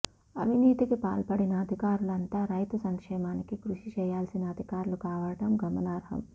అవినీతికి పాల్పడిన అధికారులంతా రైతు సంక్షేమానికి కృషి చేయాల్సిన అధికారులు కావడం గమనార్హం